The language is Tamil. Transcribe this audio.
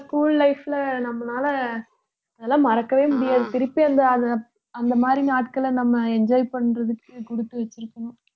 school life ல நம்மளால அதெல்லாம் மறக்கவே முடியாது திருப்பி அந்த அந்த அந்த மாதிரி நாட்களை நம்ம enjoy பண்றதுக்கு குடுத்து வச்சிருக்கணும்